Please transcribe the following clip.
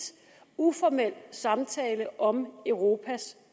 uformel samtale om europas